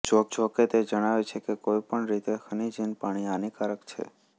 જોકે તે જણાવે છે કે કોઇ પણ રીતે ખનીજહીન પાણી હાનિકારક છે